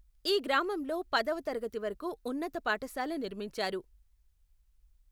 ఈ గ్రామంలో పదవ తరగతి వరకు ఉన్నత పాఠశాల నిర్మించారు.